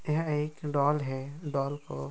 यह एक डॉल है डॉल को --